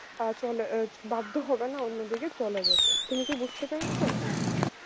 আ চলে বাধ্য হবে না অন্যদিকে চলে যেতে তুমি কি বুঝতে পেরেছ